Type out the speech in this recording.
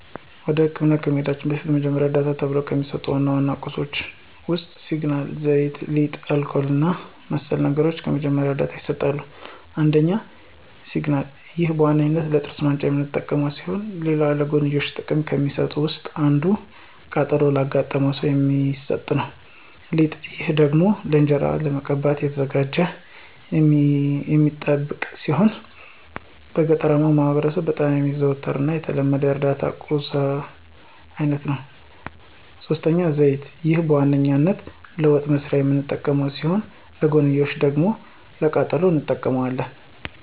ወደ መደበኛ ህክምና ከመሂዳችን በፊት የመጀመሪያ ዕርዳታ ተብሎው ከሚሰጡ ዋና ዋና ቁሳቁሶች ውስጥ ሲግናል፣ ዘይት፣ ሊጥ፣ አልኮል እና መሰል ነገሮች ለመጀመሪያ ዕርዳታ ይሰጣሉ። ፩) ሲግናል፦ ይህ በዋነኛነት ለጥርስ ማንጫነት የምንጠቀምበት ሲሆን ሌላ ለጎንዮሽ ጥቅም ከሚሰጡት ውስጥ አንዱ ቃጠሎ ላጋጠመው ሰው የሚሰጥ ነው። ፪) ሊጥ፦ ይህ ደግሞ ለእንጅራ ለመቀባት ተዘጋጅቶ የሚጠብቅ ሲሆን በገጠራማው ማህበረሰብ በጣም የሚዘወተር እና የተለመደ የእርዳታ ቁሳቁስ አይነት ነው። ፫) ዘይት፦ ይህ በዋነኛነት ለወጥ መስሪያነት የምንጠቀመው ሲሆን ለጎንዮሽ ደግሞ ለቃጠሎም እንጠቀመዋለን።